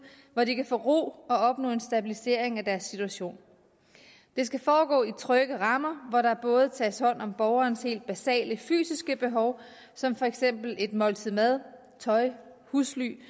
hvor de kan få ro og opnå en stabilisering af deres situation det skal foregå i trygge rammer hvor der både tages hånd om borgerens helt basale fysiske behov som for eksempel et måltid mad tøj og husly